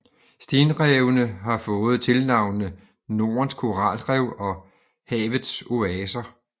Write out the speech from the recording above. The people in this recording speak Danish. Stenrevene har fået tilnavnene Nordens Koralrev og Havets Oaser